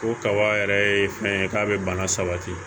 O kaba yɛrɛ ye fɛn ye k'a bɛ bana sabati